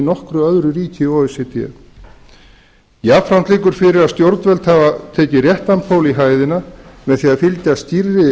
nokkru öðru ríki o e c d jafnframt liggur fyrir að stjórnvöld hafa tekið réttan pól í hæðina með því að fylgja skýrri